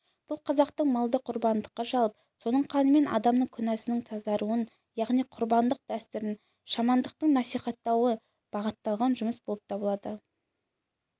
бұл қазақтың малды құрбандыққа шалып соның қанымен адамның күнәсынан тазаруын яғни құрбандық дәстүрін шамандықты насихаттауға бағытталған жұмыс болып табылады